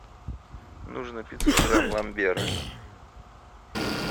нужно пятьсот грамм ламбера